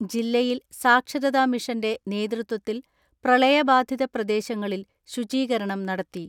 ജില്ലയിൽ സാക്ഷരതാ മിഷന്റെ നേതൃത്വത്തിൽ പ്രളയബാധിത പ്രദേശങ്ങളിൽ ശുചീകരണം നടത്തി.